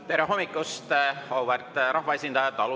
Tere hommikust, auväärt rahvaesindajad!